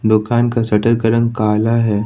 दुकान का शटर का रंग काला है।